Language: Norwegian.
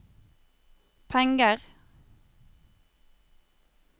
penger